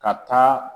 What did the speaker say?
Ka taa